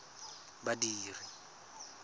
badiri